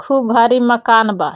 खुब भारी मकान बा।